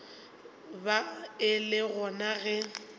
ba e le gona ge